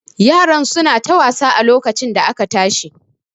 Yaran su na ta wasa a lokacin da aka tashi